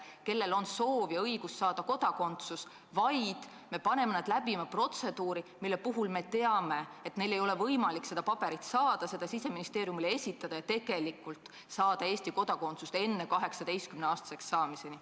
Neil on soov ja õigus saada Eesti kodakondsus, aga me paneme nad läbima protseduuri, mille puhul me teame, et neil ei ole võimalik seda paberit hankida, seda Siseministeeriumile esitada ja tegelikult saada Eesti kodakondsust enne 18-aastaseks saamist.